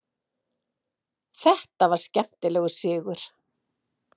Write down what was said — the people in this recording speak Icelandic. Þetta var skemmtilegur sigur.